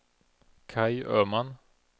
Kaj Öman